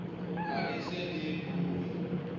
ha le se le beuwe